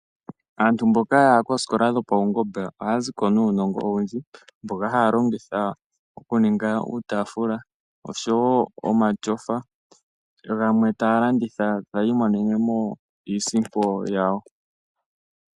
Aantu mboka ya ya kooskola dhopaungomba ohaya ziko nuunongo owundji, mboka haya longitha okuninga uufaatula osho wo omatyofa, gamwe taya landitha ta yi imonenemo iisimpo yawo.